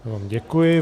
Já vám děkuji.